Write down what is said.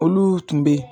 Olu tun bɛ yen